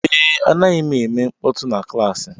Ee, anaghị m eme mkpọtụ na klaasị